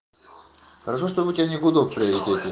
хорошо что у тебя не гудок в приоритете